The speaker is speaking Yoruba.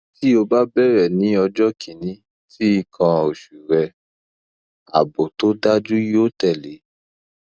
ti o ba bẹrẹ ni ọjọ kini ti ikan oṣu re aabo to daju yo tele